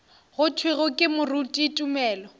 go thwego ke moruti tumelo